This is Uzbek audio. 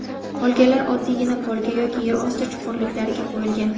Qolganlari oddiygina polga yoki yer osti chuqurliklariga qo‘yilgan.